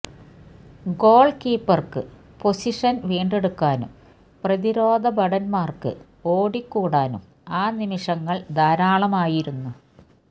ഗോള്ക്കീപ്പര്ക്ക് position വീണ്ടെടുക്കാനും പ്രതിരോധ ഭടന്മാര്ക്ക് ഓടിക്കൂടാനും ആ നിമിഷങ്ങള് ധാരാളമായിരുന്നു